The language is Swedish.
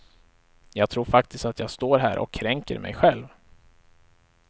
Jag tror faktiskt att jag står här och kränker mig själv.